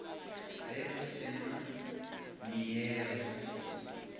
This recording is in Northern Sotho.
ge go se na neela